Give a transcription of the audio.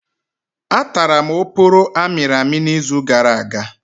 Atara m oporo amịrị amị izu gara aga.